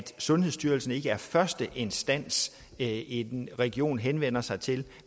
sundhedsstyrelsen ikke er den første instans en region henvender sig til